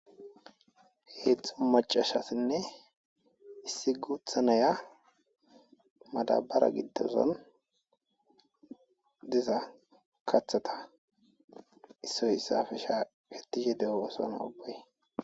Heedzxu macashasinne issi guuthanaya madabara giddozon diza kathata issoy issafe shaaketishe de'obasona obey.